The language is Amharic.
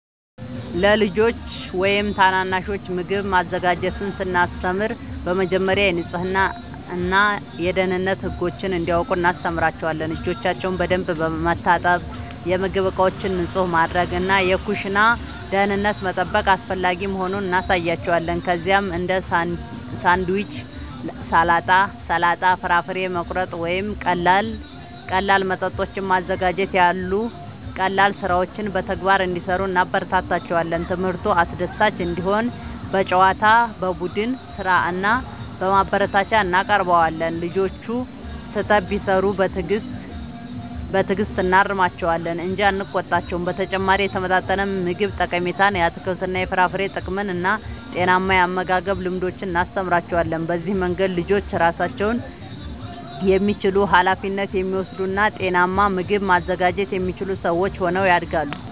ለልጆች ወይም ታናናሾች ምግብ ማዘጋጀትን ስናስተምር በመጀመሪያ የንጽህና እና የደህንነት ህጎችን እንዲያውቁ እናስተምራቸዋለን። እጆቻቸውን በደንብ መታጠብ፣ የምግብ ዕቃዎችን ንጹህ ማድረግ እና የኩሽና ደህንነትን መጠበቅ አስፈላጊ መሆኑን እናሳያቸዋለን። ከዚያም እንደ ሳንድዊች፣ ሰላጣ፣ ፍራፍሬ መቁረጥ ወይም ቀላል መጠጦችን ማዘጋጀት ያሉ ቀላል ሥራዎችን በተግባር እንዲሠሩ እናበረታታቸዋለን። ትምህርቱ አስደሳች እንዲሆን በጨዋታ፣ በቡድን ሥራ እና በማበረታቻ እናቀርበዋለን። ልጆቹ ስህተት ቢሠሩ በትዕግሥት እናርማቸዋለን እንጂ አንቆጣቸውም። በተጨማሪም የተመጣጠነ ምግብ ጠቀሜታን፣ የአትክልትና የፍራፍሬ ጥቅምን እና ጤናማ የአመጋገብ ልምዶችን እናስተምራቸዋለን። በዚህ መንገድ ልጆች ራሳቸውን የሚችሉ፣ ኃላፊነት የሚወስዱ እና ጤናማ ምግብ ማዘጋጀት የሚችሉ ሰዎች ሆነው ያድጋሉ።